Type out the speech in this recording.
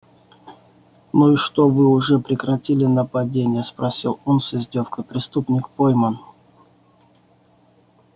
ну и что вы уже прекратили нападения спросил он с издёвкой преступник пойман